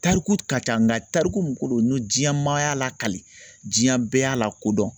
Tariku ka ca nga tariku min ko don n'o diɲan maa y'a lakali diɲan bɛɛ y'a lakodɔn